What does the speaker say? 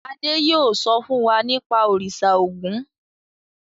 Adé yóò sọ fún wa nípa Òrìṣà Ògún.